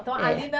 Então, a Lina